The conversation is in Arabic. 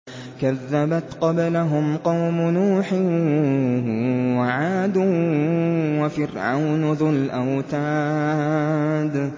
كَذَّبَتْ قَبْلَهُمْ قَوْمُ نُوحٍ وَعَادٌ وَفِرْعَوْنُ ذُو الْأَوْتَادِ